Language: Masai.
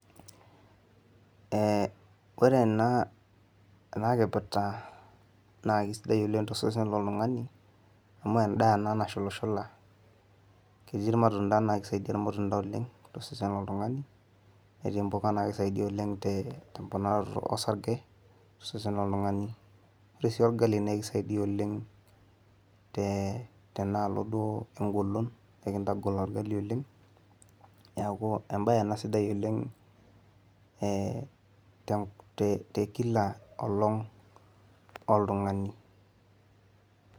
ee ore ena kipirta na kisidai oleng tosesen lontungani ,amu enda naa nashula shula ketii imatunda na kisaidia ilmatunda oleng tosesen lontungani eti impuka na kisaidia oleng temponaroto osarge tosesen lontungani, ore si olgali na kisaidia oleng te tenaloo duo engolon ,ekitangol olgali oleng niaku embae ena sidai oleng te te tekila olong oltungani,